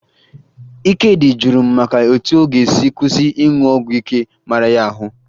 Ikedị jụrụ m maka etu ọ ga-esi kwụsị ịṅụ ọgwụ ike mara ya ahụ